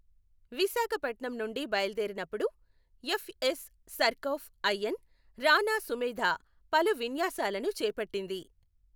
విశాఖపట్నం నుండి బయలుదేరి నప్పుడు, FS Surcouf IN Rana Sumedha పలు విన్యాసాలను చేపట్టింది.